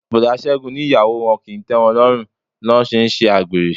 Boda Ségun ní ìyàwó wọn kì í tẹ́wọn lọ́run lọ́ ṣe ń s'agbere.